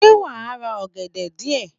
Sé wàá ra ọ̀gẹ̀dẹ̀ díè